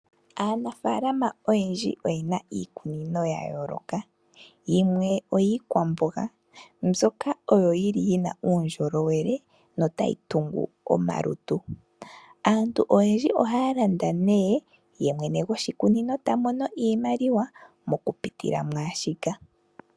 Aanafaalama oyendji oyena iikunino yayooloka yimwe oyiikwamboga mbyoka oyo yili yina uundjolowele notayi tungu omalutu. Aantu oyendji ohaa landa nee yemwene goshikunino tamono iimaliwa moku pitila mwaashika.